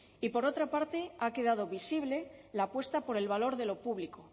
y por otra parte ha quedado visible la apuesta por el valor de lo público